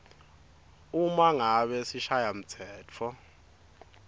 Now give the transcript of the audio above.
uma ngabe sishayamtsetfo